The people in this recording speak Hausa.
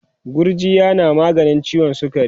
gujjiya na maganin ciwon sukari